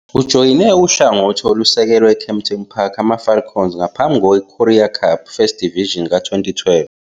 Ujoyine uhlangothi olusekelwe eKempton Park AmaFalcons ngaphambi kweCurrie Cup First Division ka-2012.